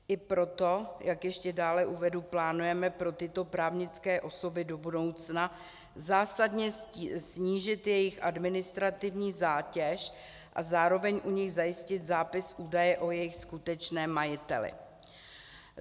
I proto, jak ještě dále uvedu, plánujeme pro tyto právnické osoby do budoucna zásadně snížit jejich administrativní zátěž a zároveň u nich zajistit zápis údaje o jejich skutečném majiteli.